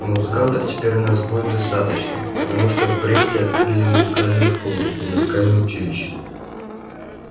а музыкантов теперь у нас будет достаточно потому что в бресте открыли и музыкальную школу и музыкальное училище